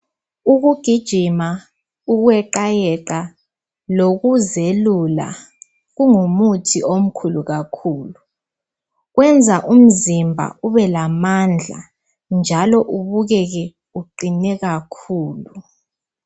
Ukugijima, ukweqayeqa lokuzelula kungumuthi omkhulu kakhulu. Kwenza umzimba ubelamandla njalo ubukeke uqine kakhulu.